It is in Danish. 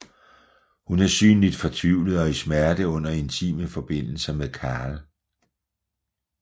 Hun er synligt fortvivlet og i smerte under intime forbindelser med Khal